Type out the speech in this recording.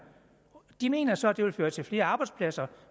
de mener så at det vil føre til flere arbejdspladser